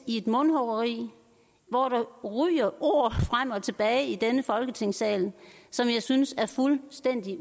i et mundhuggeri hvor der ryger ord frem og tilbage i denne folketingssal som jeg synes er fuldstændig